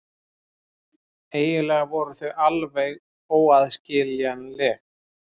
Eiginlega voru þau alveg óaðskiljanleg.